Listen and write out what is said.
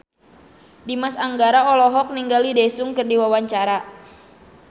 Dimas Anggara olohok ningali Daesung keur diwawancara